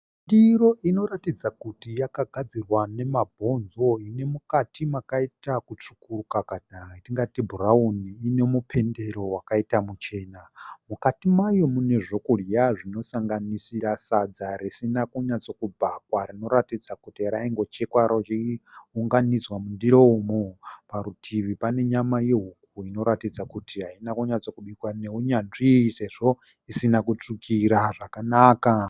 Ndiro inoratidza kuti yakagadzirwa nemabhonzo inemukati makaita kutsvukuruka kana yatingati bhurauni ine mupendero wakaita muchena. Mukati mayo mune zvokudya zvinosanganisira sadza risina kunatso kubhakwa rinoratidza kuti raingochekwa rounganidzwa mundiro umu. Parutivi pane nyama yehuku inoratidza kuti haina kunatso kubikwa neunyanzvi sezvo isina kutsvukira zvakanaka.